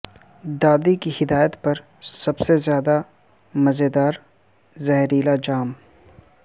دادی کی ہدایت پر سب سے زیادہ مزیدار زہریلا جام